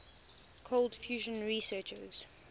cold fusion researchers